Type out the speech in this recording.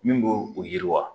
Min bo u yiriwa.